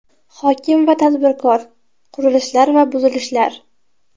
Hokim va tadbirkor : qurilishlar va buzilishlar.